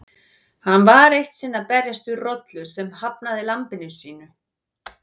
Hann var eitt sinn að berjast við rollu sem hafnaði lambinu sínu.